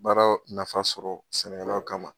Baara nafa sɔrɔ sɛnɛkɛlaw kama